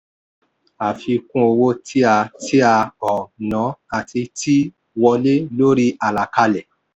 àfikún owó tí a tí a um ná àti tí wọlé lórí àlàkalẹ̀.